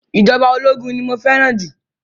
Ìjọba ológun ni mo fẹ́ràn jù.